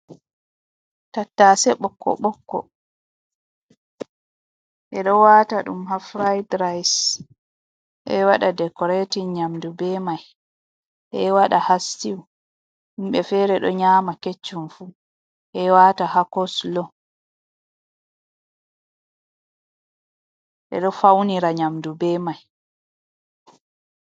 Tattase bokko bokko, ɓe ɗo wata ɗum ha fraid rais e wada dekoratin nyamdu be mai, e wada ha stiu, himɓe fere do nyama keccum fu, e wata ha koslo eɗo faunira nyamdu be mai.